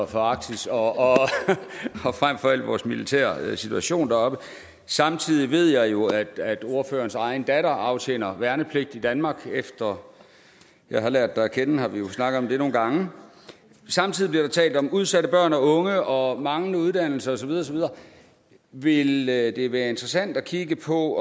for arktis og frem for alt vores militære situation deroppe samtidig ved jeg jo at ordførerens egen datter aftjener værnepligt i danmark efter jeg har lært dig at kende har vi jo snakket om det nogle gange samtidig bliver der talt om udsatte børn og unge og manglende uddannelser og så videre ville det være interessant at kigge på